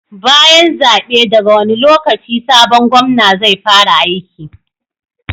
Bayan zabe daga wani lokaci sabon Gomna zai fara aiki?